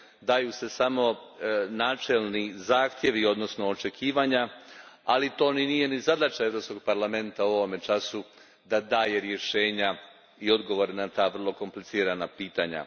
Daju se samo načelni zahtjevi, odnosno očekivanja, ali nije ni zadaća Europskog parlamenta u ovom času da daje rješenja i odgovore na ta vrlo komplicirana pitanja.